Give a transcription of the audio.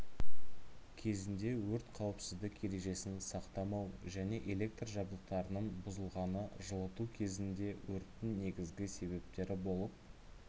кезінде өрт қауіпсіздік ережесін сақтамау және электр жабдықтарының бұзылғаны жылыту кезеңінде өрттің негізгі себептері болып